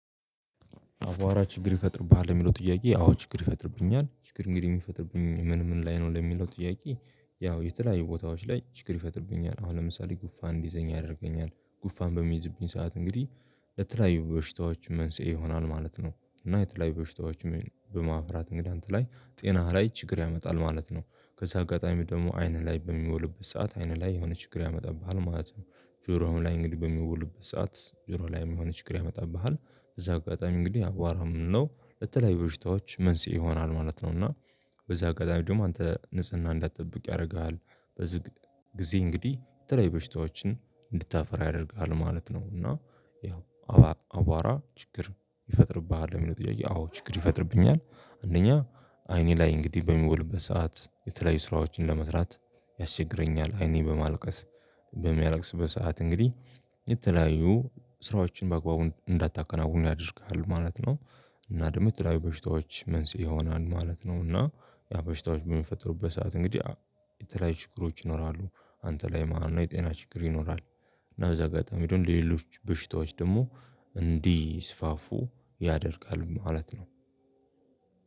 አቧራ ችግር ይፈጥርብሃል የሚለው ጥያቄ አዎ ችግር ይፈጥርብኛል ችግር እንግዲህ የሚፈጥርብኝ ምን ምን ላይ ነው ለሚለው ጥያቄ ያው የተለያዩ ቦታዎች ላይ ችግር ይፈጥርብኛል። አሁን ለምሳሌ ጉፋን እንዲይዘኝ ያደርገኛል ጉፋን በሚይዝብኝ ሰዓት እንግዲህ የተለያዩ በሽታዎች መንስኤ ይሆናል ማለት ነው። እና የተለያዩ በሽታዎች በማፍራት እንግዳ እንትን ላይ ጤናህ ላይ ችግር ያመጣል ማለት ነው። ከዛ አጋጣሚ ደግሞ አይንህ ላይ በሚቦልበት ሰዓት አይንህ ላይ የሆነ ችግር ያመጣብሃል ማለት ነው። ጆሮው ላይ እንግዲህ በሚቦሉበት ሰዓት ጆሮ ላይ የሆነ ችግር ያመጣብሃል። በዛ አጋጣሚ እንግዲህ አቧራ ምንድነው? በተለይ በሽታዎች መንስኤ ይሆናል ማለት ነው እና። በዛ አጋጣሚ ደግሞ አንተ ንጽህና እንዳትጠብቅ ያደርግሃል። በዚህ። ጊዜ እንግዲህ የተለያዩ በሽታዎችን እንድታፈራ ያደርግሃል ማለት ነው እና። ያው አቧራ ችግር ይፈጥርብሃል ለሚለው ጥያቄ አዎ ችግር ይፈጥርብኛል። እነኛ አይኔ ላይ እንግዲህ በሚቦልበት ሰዓት የተለያዩ ስራዎችን ለመስራት ያስቸግረኛል። አይኔ በማልቀስ። በሚያለቅስበት ሰዓት እንግዲህ የተለያዩ ስራዎችን በአግባቡ እንዳታከናውኑ ያደርግሃል ማለት ነው። እና ደግሞ የተለያዬ በሽታዎች መንስኤ ይሆናን ለማለት ነው እና። ያ በሽታዎች በሚፈጥሩበት ሰዓት እንግዲህ የተለያዩ ችግሮች ይኖራሉ። አንተ ላይ ማለት ነው የጤና ችግር ይኖራል። እና በዛ አጋጣሚ ደግሞ የሌሎች በሽታዎች ደግሞ እንዲስፋፉ ያደርጋል ማለት ነው።